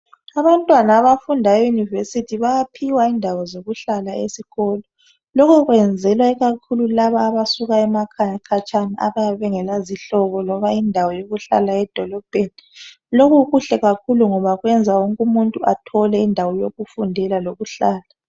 Abantwana abafunda eyunivesithi bayaphiwa indawo zokuhlala esikolo lokho kwenzelwa ikakhulu labo abasuka emakhaya khatshana abayabe bengela zihlobo loba indawo yokuhlala edolobheni lokhu kuhle kakhulu ngoba kuyenza wonke umuntu athole indawo yokufundela leyokuhlala.